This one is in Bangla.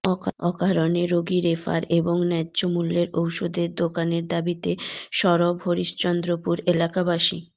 অকারণে রোগী রেফার এবং ন্যায্য মূল্যের ওষুধের দোকানের দাবিতে সবর হরিশ্চন্দ্রপুর এলাকাবাসী